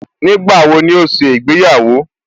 Nígbàwo ni ó ṣe ìgbéyàwó?